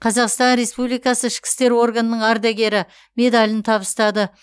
қазақстан республикасы ішкі істер органының ардагері медалін табыстады